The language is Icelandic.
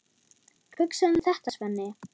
Hugsaðu um þetta, Svenni!